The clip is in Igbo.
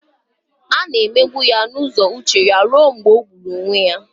A na-emegbu ya n'ụzọ uche ruo mgbe ọ gburu onwe ya